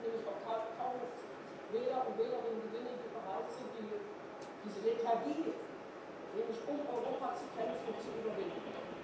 Sonst werden wir nämlich auch kaum noch Wähler und Wählerinnen gewinnen, die bereit sind, diese Lethargie nämlich um Europa zu kämpfen zu überwinden.